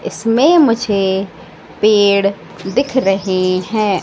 इसमें मुझे पेड़ दिख रहे हैं।